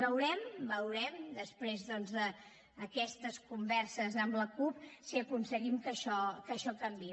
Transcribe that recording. veurem veurem després doncs d’aquestes converses amb la cup si aconseguim que això canviï